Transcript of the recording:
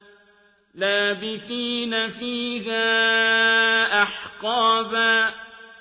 لَّابِثِينَ فِيهَا أَحْقَابًا